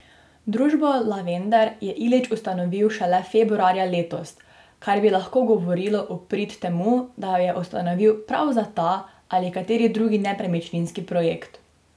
Družbo Lavender je Ilić ustanovil šele februarja letos, kar bi lahko govorilo v prid temu, da jo je ustanovil prav za ta ali kateri drugi nepremičninski projekt.